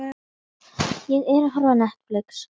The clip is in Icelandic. Þetta er ekkert annað en hótun.